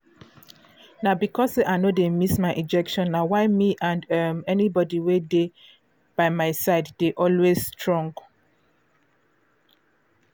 na because say i no dey miss my injection na why me and um anybody wey dey um my side dey always strong